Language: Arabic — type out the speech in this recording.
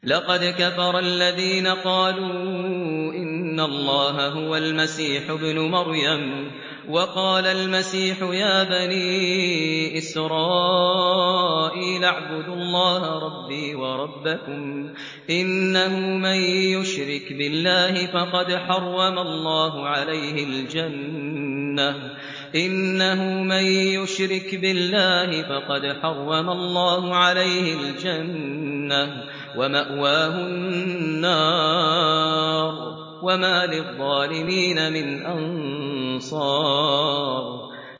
لَقَدْ كَفَرَ الَّذِينَ قَالُوا إِنَّ اللَّهَ هُوَ الْمَسِيحُ ابْنُ مَرْيَمَ ۖ وَقَالَ الْمَسِيحُ يَا بَنِي إِسْرَائِيلَ اعْبُدُوا اللَّهَ رَبِّي وَرَبَّكُمْ ۖ إِنَّهُ مَن يُشْرِكْ بِاللَّهِ فَقَدْ حَرَّمَ اللَّهُ عَلَيْهِ الْجَنَّةَ وَمَأْوَاهُ النَّارُ ۖ وَمَا لِلظَّالِمِينَ مِنْ أَنصَارٍ